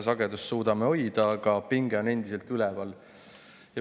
Sagedust me suudame hoida, aga pinge on endiselt üleval.